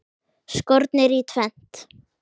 Skornir í tvennt.